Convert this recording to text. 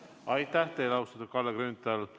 Aitäh teile, austatud Kalle Grünthal!